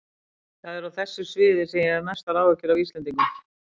Það er á þessu sviði sem ég hef mestar áhyggjur af Íslendingum.